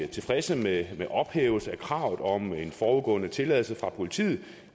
tilfredse med ophævelsen af kravet om en forudgående tilladelse fra politiet